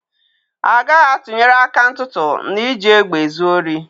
A gaghị atụnyere aka ntụtụ na iji egbe ezi ohi.